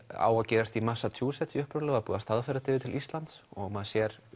á að gerast í Massachusetts búið að staðfæra það yfir til Íslands og maður sér